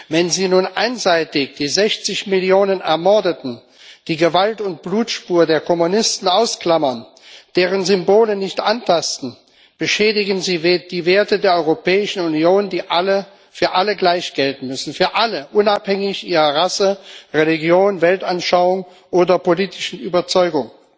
Wenn Sie nun einseitig die 60 Millionen Ermordeten, die Gewalt und Blutspur der Kommunisten ausklammern, deren Symbole nicht antasten, beschädigen Sie die Werte der Europäischen Union, die für alle gleich gelten müssen für alle, unabhängig von ihrer Rasse, Religion, Weltanschauung oder politischen Überzeugung.